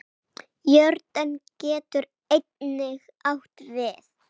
Jórdan getur einnig átt við